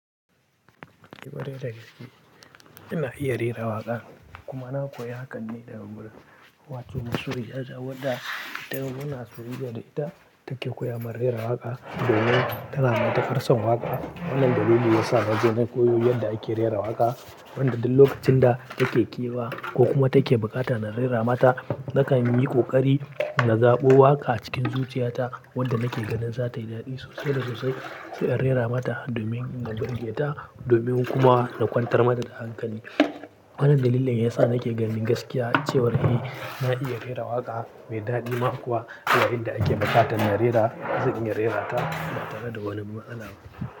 Eeh kwarai da gaske ina iya rera waƙa, kuma na koyi hakan ne daga murna. Wato mansure ya jawo ta, don muna soyayya da ita, take koya mun rera waka domin tana matukar son waka. Wannan dalili ya sa na je na koyo yadda ake rera waƙa. Wanda duk lokacin da take ƙewa ko kuma take bukata na rera mata, nakan yi ƙoƙari na zaɓo waƙa cikin zuciyata wadda nake ganin za tayi daɗi sosai da sosai sai in rera mata domin in nurgeta domin kuma na kwantar mata da hankali. Wannan dalilin yasa nake ganin gaskiya cewar eh na iya rera waƙa mai daɗi ma kuwa zuwa inda ake buƙatan na rera, zan iya rerata ba tare da wani matsala ba.